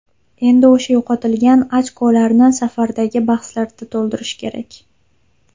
Endi o‘sha yo‘qotilgan ochkolarni safardagi bahslarda to‘ldirish kerak.